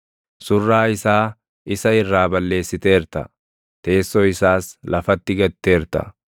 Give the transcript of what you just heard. Surraa isaa isa irraa balleessiteerta; teessoo isaas lafatti gatteerta.